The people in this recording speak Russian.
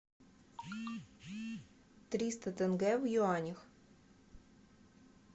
триста тенге в юанях